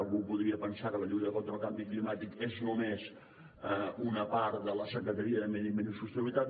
algú podria pensar que la lluita contra el canvi climàtic és només una part de la secretaria de medi ambient i sostenibilitat